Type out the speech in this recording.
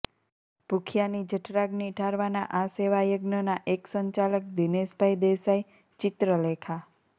ભૂખ્યાની જઠરાગ્નિ ઠારવા ના આ સેવાયજ્ઞ ના એક સંચાલક દિનેશ ભાઈ દેસાઈ ચિત્રલેખા